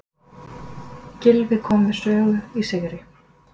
Gylfi kom við sögu í sigri